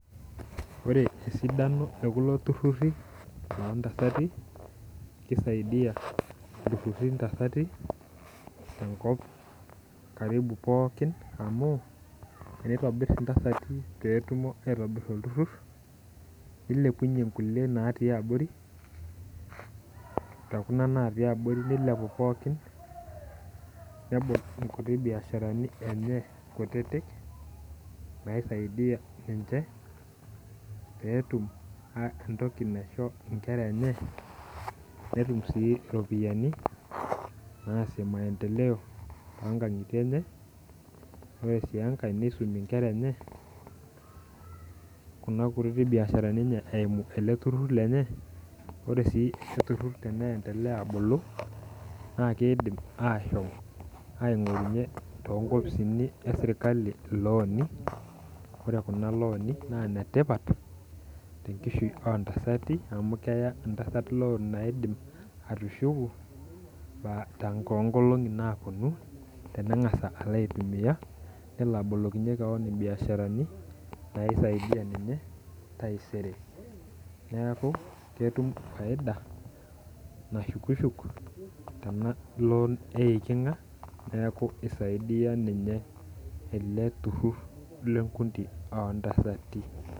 Ore esidano ekulo turruri lontasati kisaidiyia ilturruri intasati tenkop karibu pookin amu eneitobirr intasati petumo aitobirr olturrur nilepunyie nkulie natii abori tekuna natii abori nilepu pookin nebol inkuti biasharani enye kutitik naisaidia ninche peetum uh entoki naisho inkera enye netum sii iropiyiani naasie maendeleo tonkang'itie enye ore sii enkae neisumie inkera enye kuna kutiti biasharani enye eimu ele turrur lenye ore sii ele turrur tene endelea abulu naa keidim ashom aing'orunyie tonkipisini esirkali ilooni ore kuna looni naa inetipat tenkishui ontasati amu keya entasat loan naidim atushuku paa tonkolong'i naponu teneng'asa alo aitumia nelo abolokinyie kewon imbiasharani naisaidia ninye taisere neaku ketum faida nashukishuk tena loan naata neku isaidiyia ninye ele turrur lenkuti ontasati .